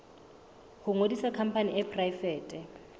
ho ngodisa khampani e poraefete